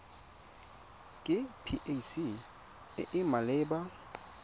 ke pac e e maleba